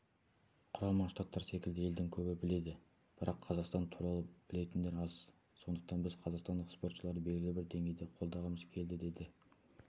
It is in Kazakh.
құрама штаттар секілді елді көбі біледі бірақ қазақстан туралы білетіндер аз сондықтан біз қазақстандық спортшыларды белгілі бір деңгейде қолдағымыз келді деді